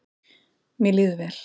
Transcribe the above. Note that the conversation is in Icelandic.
Mér líður vel